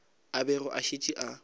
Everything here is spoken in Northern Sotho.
a bego a šetše a